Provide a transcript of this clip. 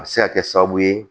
A bɛ se ka kɛ sababu ye